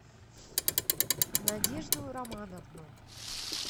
надежду романовну